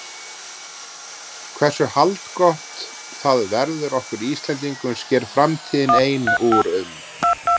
En hversu haldgott það verður okkur Íslendingum sker framtíðin ein úr um.